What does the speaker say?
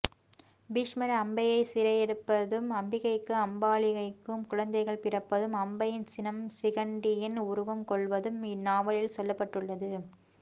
பீஷ்மர் அம்பையை சிறையெடுப்பதும் அம்பிகைக்கும் அம்பாலிகைக்கும் குழந்தைகள் பிறப்பதும் அம்பையின் சினம் சிகண்டியின் உருவம் கொள்வதும் இந்நாவலில் சொல்லப்பட்டுள்ளது